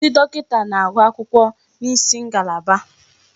Ndi dọkịta na-agụ akwụkwọ n'isi ngalaba.